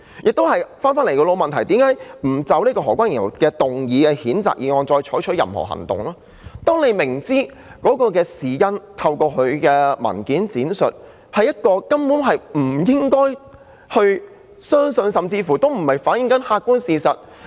至於為何不就何君堯議員動議的譴責議案採取任何行動，是因為大家透過他的文件闡述，知道當中的事因根本不可信，甚至未能反映客觀事實。